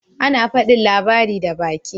Ana fadin labari da baki.